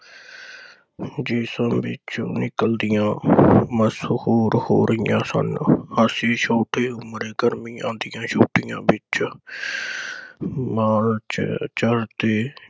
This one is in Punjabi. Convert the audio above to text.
ਜੇ ਸਭ ਵਿਚੋਂ ਨਿਕਲਦੀਆਂ ਮਸ਼ਹੂਰ ਹੋ ਰਹੀਆ ਸਨ। ਅਸੀਂ ਛੋਟੇ ਉਮਰੇ ਗਰਮੀਆਂ ਦੀਆ ਛੁੱਟੀਆਂ ਵਿਚ ਮਾਲ ਵਿਚ ਚਲਦੇ